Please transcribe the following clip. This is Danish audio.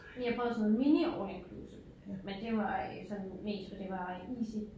Vi har prøvet sådan noget mini all inclusive men det var øh sådan mest for det var easy